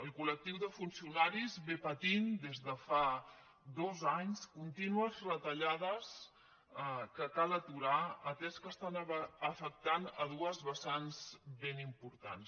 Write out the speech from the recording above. el col·lectiu de funcionaris ve patint des de fa dos anys contínues retallades que cal aturar atès que estan afectant dues vessants ben importants